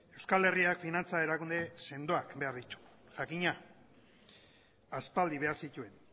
euskal herriak finantza erakunde sendoak behar ditu jakina aspaldi behar zituen